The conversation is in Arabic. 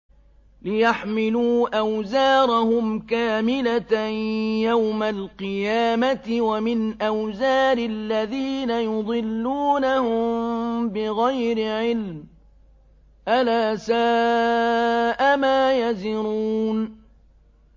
لِيَحْمِلُوا أَوْزَارَهُمْ كَامِلَةً يَوْمَ الْقِيَامَةِ ۙ وَمِنْ أَوْزَارِ الَّذِينَ يُضِلُّونَهُم بِغَيْرِ عِلْمٍ ۗ أَلَا سَاءَ مَا يَزِرُونَ